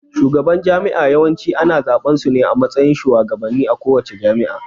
Shugaban jami'a Yawanci ana zaɓan sune a matsayin shugabannen a kowace jami'a